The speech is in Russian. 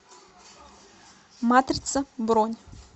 матрица бронь